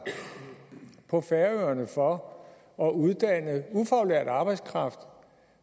på færøerne for at uddanne ufaglært arbejdskraft